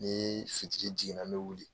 Ni fitiri jigin na n bɛ wuli